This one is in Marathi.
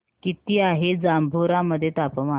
किती आहे जांभोरा मध्ये तापमान